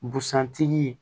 Busan tigi